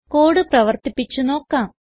code പ്രവർത്തിപ്പിച്ച് നോക്കാം